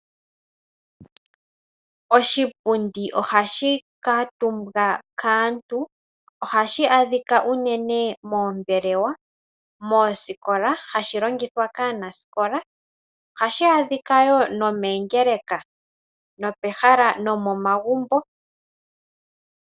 Oshipundi ohashi kaatumbwa kaantu ohashi adhika unene moombelewa moosikola, hashi longithwa kaanasikola. Ohashi adhika woo nomoongeleka nomomagumbo.